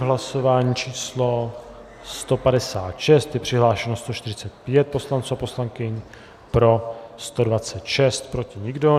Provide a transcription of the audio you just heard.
V hlasování číslo 156 je přihlášeno 145 poslanců a poslankyň, pro 126, proti nikdo.